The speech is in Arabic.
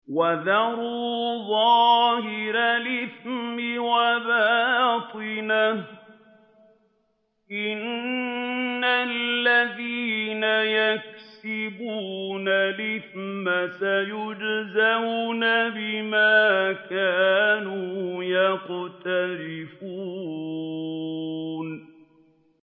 وَذَرُوا ظَاهِرَ الْإِثْمِ وَبَاطِنَهُ ۚ إِنَّ الَّذِينَ يَكْسِبُونَ الْإِثْمَ سَيُجْزَوْنَ بِمَا كَانُوا يَقْتَرِفُونَ